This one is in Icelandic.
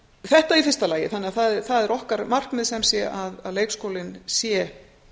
þetta í fyrsta lagi þannig að það er okkar markmið sem sé að leikskólinn sé